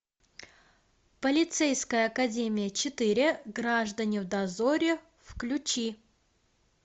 полицейская академия четыре граждане в дозоре включи